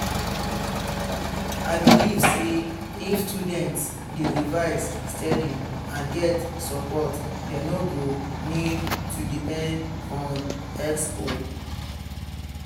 i believe say if students dey revise steady and get support dem no go need to depend on expo.